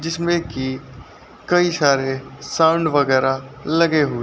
जिसमें कि कई सारे साउंड वगैरा लगे हुए --